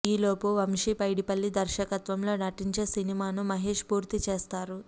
ఈలోపు వంశీ పైడిపల్లి దర్శకత్వంలో నటించే సినిమాను మహేశ్ పూర్తి చేస్తారు